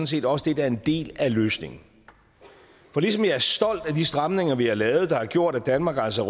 set også det der er en del af løsningen for ligesom jeg er stolt af de stramninger vi har lavet der har gjort at danmark altså